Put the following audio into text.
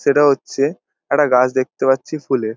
সেটা হচ্ছে একটা গাছ দেখতে পাচ্ছি ফুলের |